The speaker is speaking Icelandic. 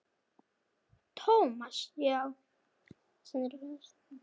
Thomas, já.